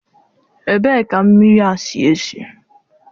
Ebee ka mmiri a si esi?